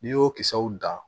N'i y'o kisɛw dan